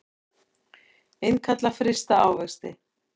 Innkalla frysta ávexti